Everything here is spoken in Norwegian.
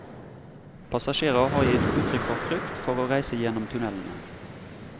Passasjerer har gitt uttrykk for frykt for å reise gjennom tunnelene.